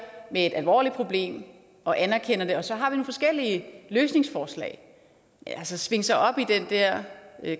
med et alvorligt problem og anerkender det og så har vi forskellige løsningsforslag at svinge sig op i den der